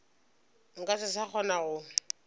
nka se sa kgona go